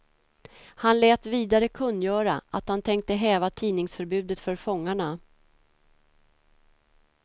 Han lät vidare kungöra, att han tänkte häva tidningsförbudet för fångarna.